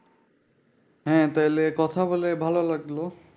হ্যাঁ তাইলে কথা বলে ভালো লাগলো।